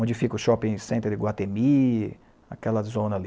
onde fica o shopping center de Guatemí, aquela zona ali.